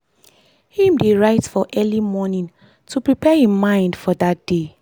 him dey write for early morning to prepare him mind for dat day.